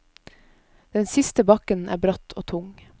Den siste bakken er bratt og tung.